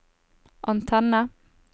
antenne